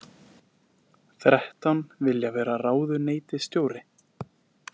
Þrettán vilja vera ráðuneytisstjóri